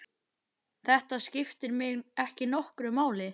Þetta skiptir mig ekki nokkru máli.